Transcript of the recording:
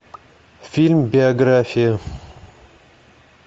фильм биография